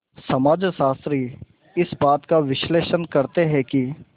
समाजशास्त्री इस बात का विश्लेषण करते हैं कि